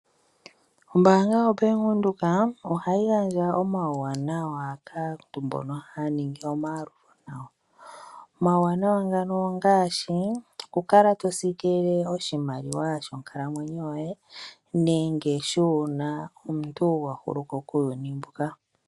Ombaanga yaBank Windhoek ohayi gandja omauwanawa kaantu mbono haya ningi omayalulo nayo. Omauwanawa ngaashi okukala to siikilile oshimaliwa shonkalamwenyo nenge uuna omuntu a hulu ko kuuyuni mbuka.